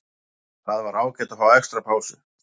Það var ágætt að fá extra pásu.